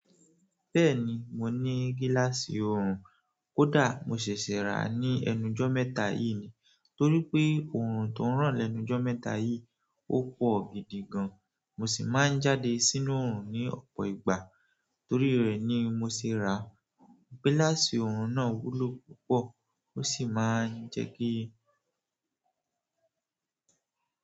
Bẹ́ẹ̀ni, mo ní gíláàsì oorun. Kódà mo ṣèṣè rà á ní ẹnujọ́ mẹ́ta yìí ni. Torí pé oorun tó ń ràn lẹ́nu jọ́ mẹ́ta yìí, ó pọ̀ gidi gan. Mo sì máa ń jáde sínú oorun ní ọ̀pọ̀ ìgbà. Torí rẹ̀ ni mo ṣe rà á. Gíláàsì oorun náà wúlò púpọ̀. O si maa n jẹ ki.